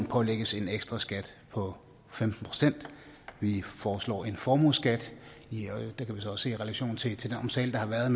pålægges en ekstraskat på femten procent vi foreslår en formueskat det kan vi også sætte i relation til den omtale der har været